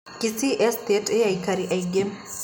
Kisii Estate ĩĩ aikari aingĩ.